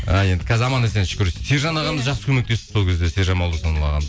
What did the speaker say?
а енді қазір аман есен шүкір сержан ағамыз жақсы көмектесті сол кезде сержан молдасынов ағамыз